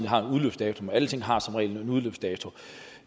har en udløbsdato men alting har som regel en udløbsdato